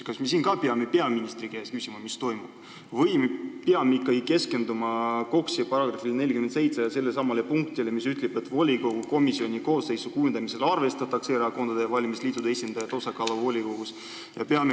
Kas me siin ka peame peaministri käest küsima, mis toimub, või peame ikkagi keskenduma KOKS-i §-le 47 ja sellelesamale punktile, mis ütleb, et volikogu komisjoni koosseisu kujundamisel arvestatakse erakondade ja valimisliitude esindajate osakaalu volikogus?